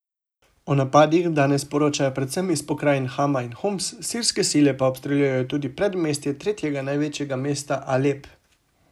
O napadih danes poročajo predvsem iz pokrajin Hama in Homs, sirske sile pa obstreljujejo tudi predmestje tretjega največjega mesta Alep.